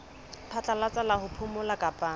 phatlalatsa la ho phomola kapa